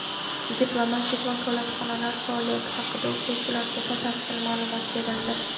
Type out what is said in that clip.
diplomatik vakolatxonalar faoliyati haqida o‘quvchilarga batafsil ma’lumot berildi.